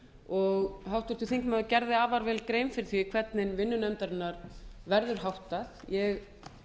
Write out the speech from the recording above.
og háttvirtur þingmaður gerði afar vel grein fyrir því hvernig vinnu nefndarinnar verður háttað ég